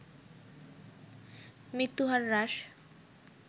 মৃত্যু হার হ্রাস